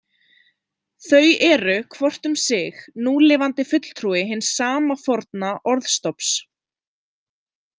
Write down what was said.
Þau eru hvort um sig núlifandi fulltrúi hins sama forna orðstofns.